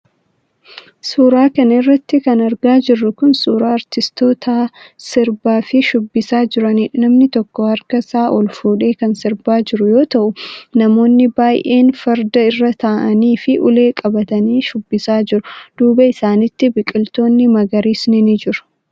Suura kana irratti kan argaa jirru kun, suura aartistoota sirbaa fi shubbisaa jiraniidha. Namni tokko harkasaa ol fuudhee kan sirbaa jiru yoo ta'u, namooni baay'een farda irra ta'anii fi ulee qabatanii shubbisaa jiru. Duuba isaanitti, biqiloonni magariisni ni jiru.